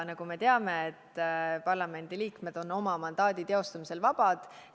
Nagu me teame, parlamendi liikmed on oma mandaadi teostamisel vabad.